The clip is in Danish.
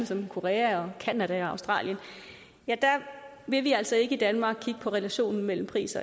som korea canada og australien vil vi altså i danmark ikke kigge på relationen mellem pris